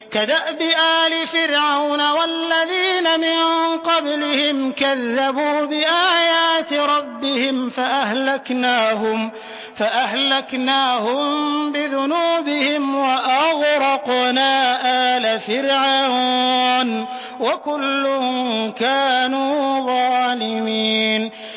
كَدَأْبِ آلِ فِرْعَوْنَ ۙ وَالَّذِينَ مِن قَبْلِهِمْ ۚ كَذَّبُوا بِآيَاتِ رَبِّهِمْ فَأَهْلَكْنَاهُم بِذُنُوبِهِمْ وَأَغْرَقْنَا آلَ فِرْعَوْنَ ۚ وَكُلٌّ كَانُوا ظَالِمِينَ